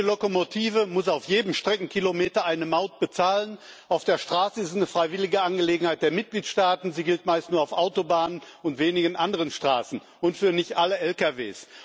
Jede Lokomotive muss auf jedem Streckenkilometer Maut bezahlen. Auf der Straße ist es eine freiwillige Angelegenheit der Mitgliedstaaten, sie gilt meistens nur auf Autobahnen und wenigen anderen Straßen und nicht für alle LKW.